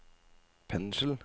pensel